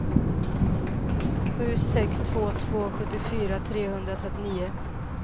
sju sex två två sjuttiofyra trehundratrettionio